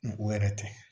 O yɛrɛ tɛ